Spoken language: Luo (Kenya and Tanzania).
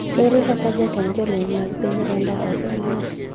Ere kaka jatend jolweny mag piny Rwanda osemak?